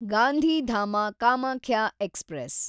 Gandhidham Kamakhya express